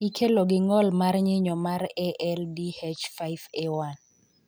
Ikelo gi ngol mar nyinyo mar ALDH5A1.